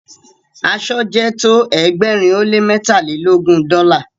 asọ jẹ tọ ẹgbẹrin o le mẹtalelogun dola